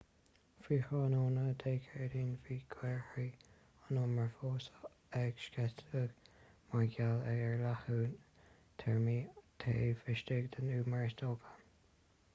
faoi thráthnóna dé céadaoin bhí gaothairí an umair fós ag sceitheadh mar gheall ar leathnú teirmeach taobh istigh den umar is dócha